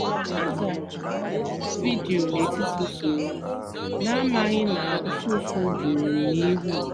a zara m oku vidio n’etiti usoro m na-amaghị na ufụfụ juru m n’ihu.